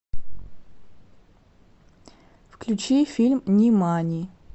включи фильм нимани